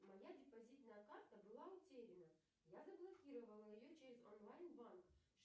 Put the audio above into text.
моя депозитная карта была утеряна я заблокировала ее через онлайн банк